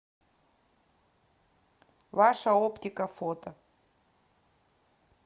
ваша оптика фото